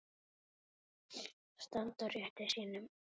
Standa á rétti sínum?